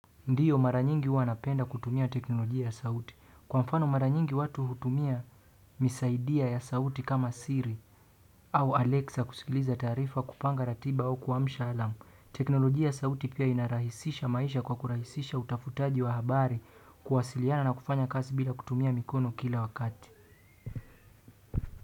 Ndiyo mara nyingi huwa napenda kutumia teknolojia ya sauti. Kwa mfano mara nyingi watu hutumia misaidia ya sauti kama Siri au Alexa kusikiliza taarifa kupanga ratiba au kuamsha alarm. Teknolojia ya sauti pia inarahisisha maisha kwa kurahisisha utafutaji wa habari kuwasiliana na kufanya kazi bila kutumia mikono kila wakati.